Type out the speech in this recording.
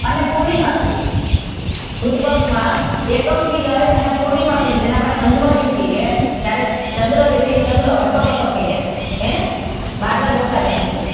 અને પૂર્ણિમા સુધી સુદ પક્ષ માં એકમ થી લઈને પૂર્ણિમા સુધી જેને આપદે અંજવાળિયું કહીયે ત્યારે ચંદ્ર છે જે ચંદ્ર હટ્ટો કટ્ટો થઈ જાય છે ને બાજરાના રોટલા જેવો